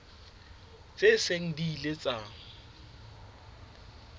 tse seng di ile tsa